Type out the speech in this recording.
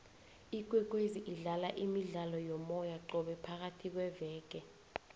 ikwekwezi idlala imidlalo yomoya qobe phakayhi kweveke